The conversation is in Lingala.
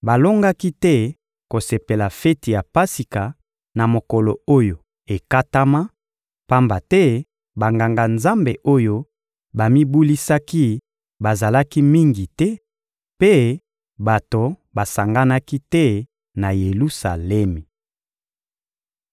Balongaki te kosepela feti ya Pasika na mokolo oyo ekatama, pamba te Banganga-Nzambe oyo bamibulisaki bazalaki mingi te, mpe bato basanganaki te na Yelusalemi.